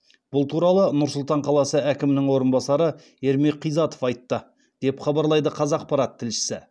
бұл туралы нұр сұлтан қаласы әкімінің орынбасары ермек қизатов айтты деп хабарлайды қазақпарат тілшісі